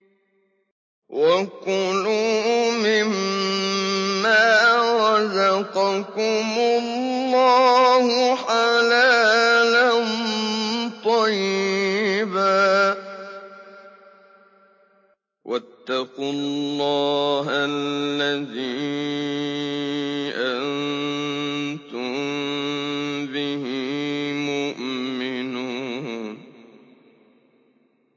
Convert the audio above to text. وَكُلُوا مِمَّا رَزَقَكُمُ اللَّهُ حَلَالًا طَيِّبًا ۚ وَاتَّقُوا اللَّهَ الَّذِي أَنتُم بِهِ مُؤْمِنُونَ